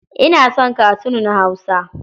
Ina son katun na Hausa.